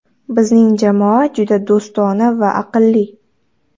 Bizning jamoa juda do‘stona va aqlli.